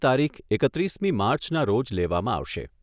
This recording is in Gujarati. તારીખ એકત્રીસમી માર્ચના રોજ લેવામાં આવશે.